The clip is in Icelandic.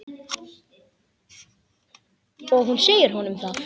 Og hún segir honum það.